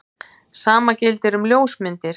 Sama gildir um ljósmyndir.